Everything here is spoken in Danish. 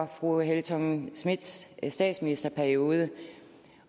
fru helle thorning schmidts statsministerperiode